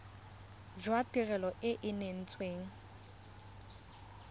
jwa tirelo e e neetsweng